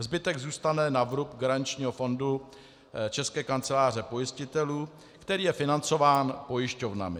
Zbytek zůstane na vrub garančního fondu České kanceláře pojistitelů, který je financován pojišťovnami.